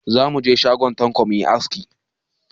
Za mu je shagon Tanko mu yi aski.